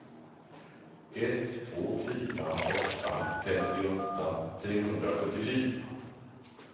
ett två fyra åtta femtioåtta trehundrasjuttiofyra